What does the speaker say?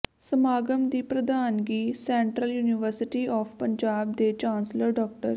ਸਮਾਗਮ ਦੀ ਪ੍ਰਧਾਨਗੀ ਸੈਂਟਰਲ ਯੂਨੀਵਰਸਟੀ ਆਫ਼ ਪੰਜਾਬ ਦੇ ਚਾਂਸਲਰ ਡਾ